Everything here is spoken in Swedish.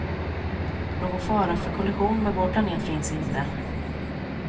Någon fara för kollision med vår planet finns inte.